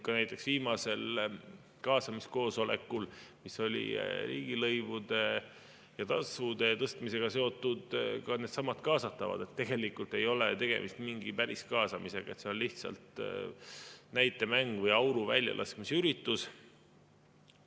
Ja näiteks viimasel kaasamiskoosolekul, mis oli riigilõivude ja tasude tõstmisega seotud, ütlesid ka needsamad kaasatavad, et tegelikult ei ole tegemist mingi päris kaasamisega, see on lihtsalt näitemäng või auru väljalaskmise üritus.